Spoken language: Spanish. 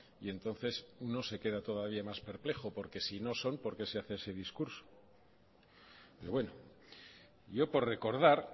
y entonces uno se queda todavía más perplejo porque si no son por qué se hace ese discurso pero bueno yo por recordar